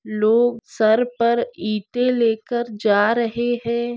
लोग सर पर इँटे लेकर जा रहे है।